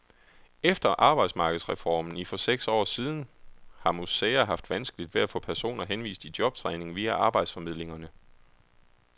Efter arbejdsmarkedsreformen i for seks år siden har museer haft vanskeligt ved at få personer henvist i jobtræning via arbejdsformidlingerne.